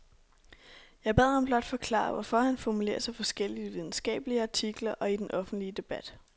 Jeg bad ham blot forklare, hvorfor han formulerer sig forskelligt i videnskabelige artikler og i den offentlige debat.